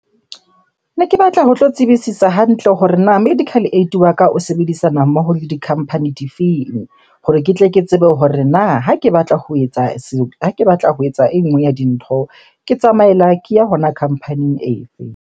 Ne ke batla ho tlo tsebisisa hantle hore na medical aid wa ka o sebedisana mmoho le di-company di feng? Hore ke tle ke tsebe hore na ha ke batla ho etsa ha ke batla ho etsa e nngwe ya dintho ke tsamaela ke ya hona company e fe?